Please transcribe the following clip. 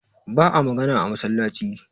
ba a magana a masallaci